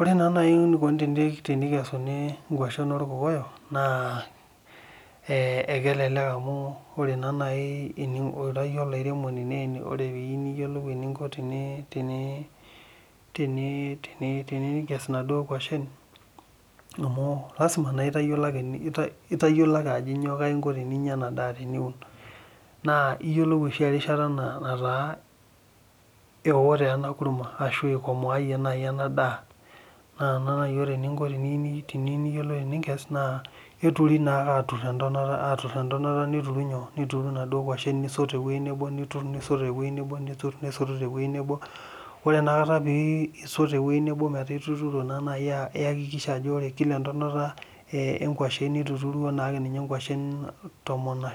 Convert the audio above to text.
Ore naa naji enikoni tenikesuni inkwashen olkokoyok, ekelelek amu ore naa naaji ira iyie olairemoni, ore eninko, tenikes, inaduoo kwashen. lasima itayiolo ake eninko, teninyia ena daa teniun. naa iyiolou oshi erishata naa eo naaji ena kurma, ikomaayie naaji ena daa, ore eninko teniyieu teninkes naa keturi naa ake aakes entonata, niyturu inaduoo nkwashen nisot te wueji nebo, ore ena kata pee isot te wueji nebo metaa ore entonata,e nkwashen, nituturuo naa ake nkwashen tomon duo.